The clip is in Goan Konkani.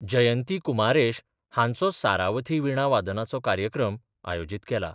जयंती कुमारेश हांचो सारावथी विणा वादनाचो कार्यक्रम आयोजीत केला.